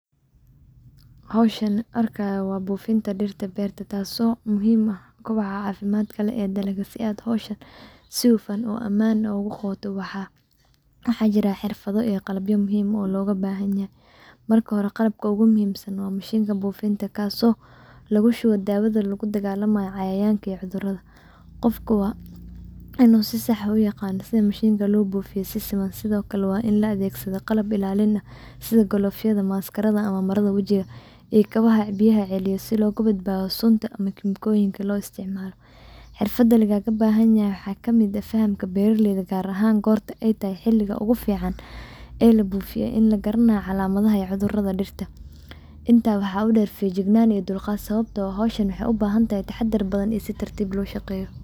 Hawshan arkayo waa buufinta dhirta beerta taaso muhiim u ah kobcaha caafimadka leh ee dalga si aad hawsha si hufan oo aman ogu qoda waxaa jira xirfada iyo qalabya muhiim oo looga bahanyahe marka hore qalabka ogu muhiimsan waa mashinta buufinta kaaso lagushuba dawada laguladagaalamayo cayayanka iyo cudurada. Qofka waa inu si sax u yaqano sida mashinta lo buufiyo si siman sidokale waa in loo adegsado qalab ilaalin ah sidokale ofyada maskarada ama marada wajiga iyo kabaha biyaha celiyo si looga badbadaado sunta ama kemikoyinka loo isticmaalo. Xirfada lagaga bahanayahy waxaa kamid ah fahamka beeralayda gaar ahan gorta ay tahay xiliga ogu fican ee la buufiyo in lagaranayo calamadaha iyo cudurada dhirta. Inta waxaa u der fijignaan iyo dulqaad sababto ah hawshan waxay u bahantahay taxadar badan iyo si tartiib loo shaqeeye.